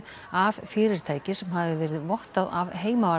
af fyrirtæki sem hafi verið vottað af